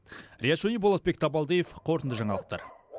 риат шони болотбек табалдиев қорытынды жаңалықтар